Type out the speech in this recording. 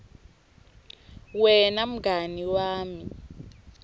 wena mngani wami